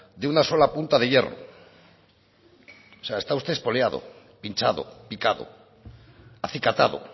de una sola punta de hierro o sea está usted espoleado pinchado picado acicatado